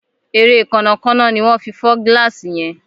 Ere Kànnà Kànnà ní wón fí fọ gilasi yén.